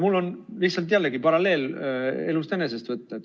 Mul on lihtsalt jällegi paralleel elust enesest võtta.